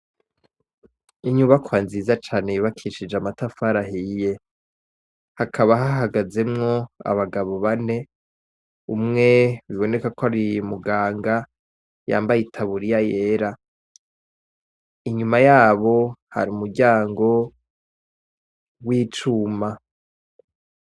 Inyubakwa nziza cane yubakishije amatafari ahiye hakaba hahagazemwo abagabo bane umwe bibonekako ari muganga yambaye itaburiya yera inyuma yabo hari umuryango wicuma.